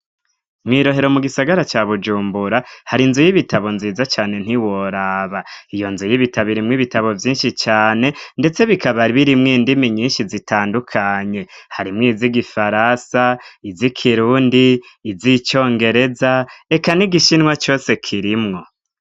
Mwirohero mu gisagara cya bujumbura hari nzu y'ibitabo nziza cyane ntiworaba iyo nzu y'ibitabo irimw ibitabo byinshi cyane ndetse bikabar birimwe indimi nyinshi zitandukanye harimwo izigifarasa, iz'ikirundi, iz'icyongereza, reka n'igishinwa cose kirimwo.